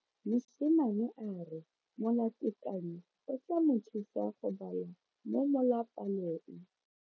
Mosimane a re molatekanyo o tla mo thusa go bala mo molapalong.